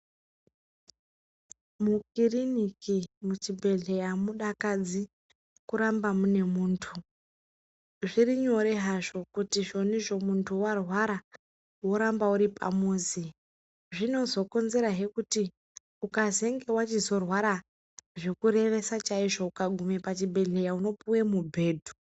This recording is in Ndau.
Mukirini, muchibhedhleya amudakadzi kuramba mune muntu, zviri nyore hazvo kuti zvonizvi muntu warwara woramba uri pamizi, zvinozokonzerahe kuti ukazenge wachizorwara zvekurevesa chaizvo ukagume pachibhedhleya unopuwe mubhedhu.